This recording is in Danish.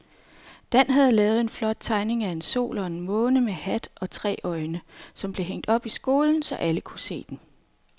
Dan havde lavet en flot tegning af en sol og en måne med hat og tre øjne, som blev hængt op i skolen, så alle kunne se den.